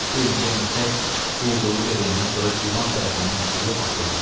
Bir neçə müddət quldurluq eləyəndən sonra divan tərəfindən tutulub asıldı.